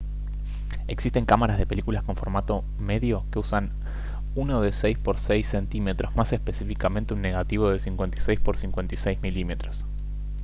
existen cámaras de películas con formato medio que usan uno de 6 por 6 cm más específicamente un negativo de 56 por 56 mm